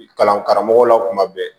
Kalan karamɔgɔw la kuma bɛɛ